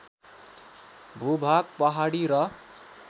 भूभाग पहाडी र